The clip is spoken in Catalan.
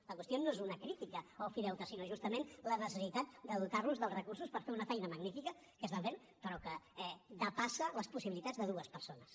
la qüestió no és una crítica a ofideute sinó justament la necessitat de dotar los dels recursos per fer una feina magnífica que estan fent però que depassa les possibilitats de dues persones